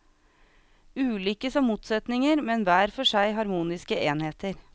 Ulike som motsetninger, men hver for seg harmoniske enheter.